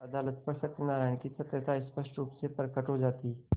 अदालत पर सत्यनारायण की सत्यता स्पष्ट रुप से प्रकट हो जाती